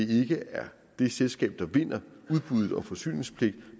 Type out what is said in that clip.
det ikke er det selskab der vinder udbuddet om forsyningspligt